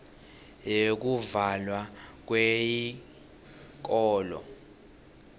yekuvalwa kweyikolo